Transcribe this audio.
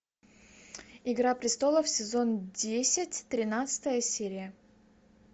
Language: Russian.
игра престолов сезон десять тринадцатая серия